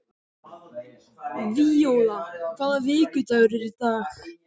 Víóla, hvaða vikudagur er í dag?